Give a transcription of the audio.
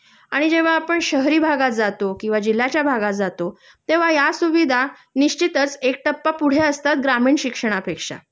आणि जेंव्हा आपण शहरी भागात जातो किंवा जिल्ह्याच्या भागात जातो तेंव्हा या सुविधा निश्चितच एक टप्पा पुढे असतात ग्रामीण शिक्षणापेक्षा